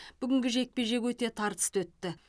бүгінгі жекпе жек өте тартысты өтті